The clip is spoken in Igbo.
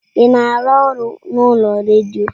Ị na-arụ ọrụ n'ụlọ ọrụ redio?